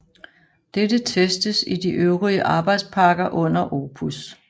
Dette testes i de øvrige arbejdspakker under OPUS